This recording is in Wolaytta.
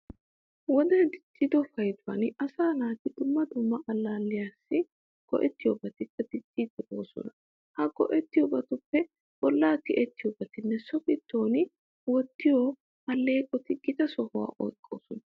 Wodee diccido payduwan asaa naati dumma dumma allaalliyassi go"ettiyobatikka dicciiddi boosona. Ha go"ettiyobatuppe bollaa tiyettiyobatinne so giddon wottiyo alleeqoti gita sohuwa oyqqoosona.